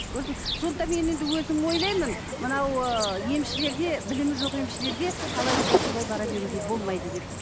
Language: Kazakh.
көрдіңіз бе сондықтан мен енді өзім ойлаймын мынау ы емшілерге білімі жоқ емшілерге қалай болса солай бара беруге болмайды деп